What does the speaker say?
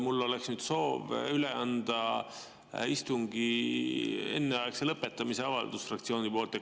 Mul oleks soov üle anda istungi enneaegse lõpetamise avaldus fraktsiooni nimel.